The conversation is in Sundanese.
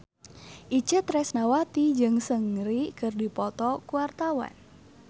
Itje Tresnawati jeung Seungri keur dipoto ku wartawan